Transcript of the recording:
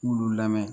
K'ulu lamɛn